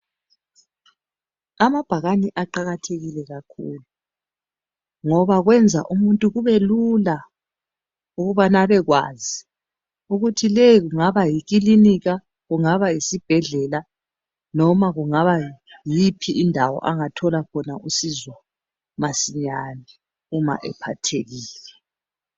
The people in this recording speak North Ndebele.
Amabhakani aqakathekile kakhulu. Ngoba kwenza umuntu kube lula ukubana abekwazi ukuthi le kungaba yikilinika, kungaba yisibhedlela, noma kungaba yiyiphi indawo angathola khona usizo masinyane uma ephathekile.